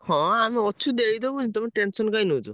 ହଁ ଆମେ ଅଛୁ ଦେଇଦବୁନୁ, ତମେ tension କାଇଁ ନଉଚ?